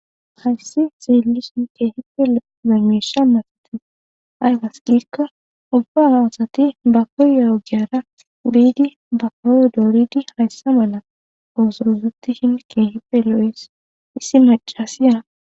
hayssi zeelison keehipe lo'o lamiisha masate ay wasqikko ubba aasati bakoyeogiara biidi bakowo dooridi hayssa mala oosorusoti shin keehipe lo7is issi macasiya